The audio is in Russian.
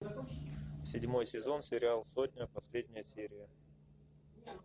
седьмой сезон сериал сотня последняя серия